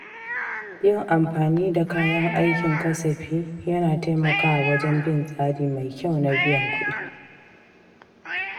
Yin amfani da kayan aikin kasafi yana taimakawa wajen bin tsari mai kyau na biyan kuɗi.